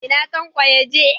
Ina Tanko yaje?